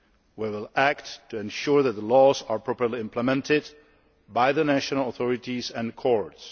We will act to ensure that the laws are properly implemented by the national authorities and courts.